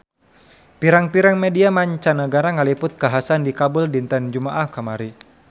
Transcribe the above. Pirang-pirang media mancanagara ngaliput kakhasan di Kabul dinten Jumaah kamari